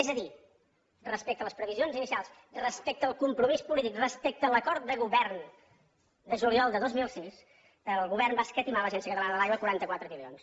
és a dir respecte a les previsions inicials respecte al compromís polític respecte a l’acord de govern de juliol de dos mil sis el govern va escatimar a l’agència catalana de l’aigua quaranta quatre milions